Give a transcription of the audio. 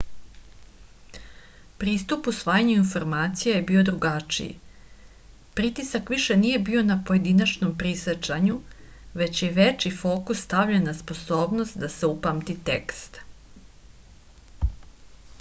pristup usvajanju informacija je bio drugačiji pritisak više nije bio na pojedinačnom prisećanju već je veći fokus stavljen na sposobnost da se upamti tekst